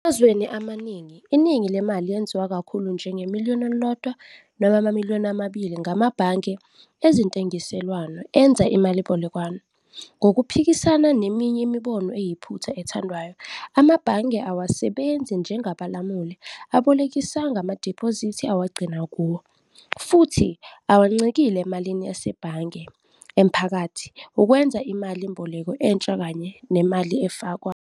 Emazweni amaningi, iningi lemali lenziwa kakhulu njenge-M1 - M2 ngamabhange ezentengiselwano enza imalimboleko. Ngokuphikisana neminye imibono eyiphutha ethandwayo, amabhange awasebenzi nje njengabalamuli, abolekisa ngamadiphozithi awagcina kuwo, futhi awancikile emalini yasebhange emaphakathi ukwenza imali mboleko entsha kanye nemali efakwa.